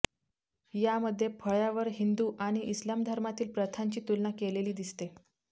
यामध्ये फळ्यावर हिंदु आणि इस्लाम धर्मातील प्रथांची तुलना केलेली दिसते